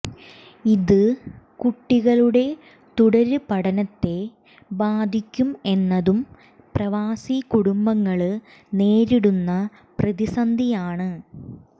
ഇത് കുട്ടികളുടെ തുടര് പഠനത്തെ ബാധിക്കും എന്നതും പ്രവാസി കുടുംബങ്ങള് നേരിടുന്ന പ്രതിസന്ധിയാണ്